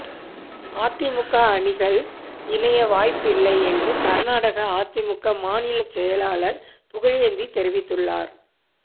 அதிமுக அணிகள் இணைய வாய்ப்பில்லை என்று கர்நாடக அதிமுக மாநில செயலாளர் புகழேந்தி தெரிவித்துள்ளார்